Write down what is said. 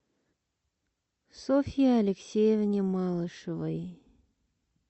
софье алексеевне малышевой